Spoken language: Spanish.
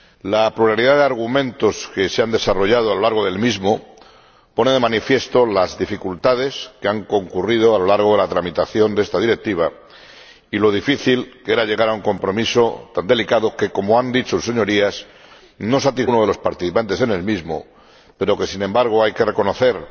La pluralidad de argumentos que se han desarrollado durante el mismo pone de manifiesto las dificultades que han concurrido a lo largo de la tramitación de esta Directiva y lo difícil que era llegar a un compromiso tan delicado que —como han dicho sus Señorías— no satisface plenamente a ninguno de los participantes en el mismo, pero del que, sin embargo, hay que reconocer